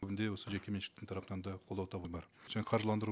бүгін де осы жеке меншіктің тарапынан да қолдау табу бар және қаржыландыру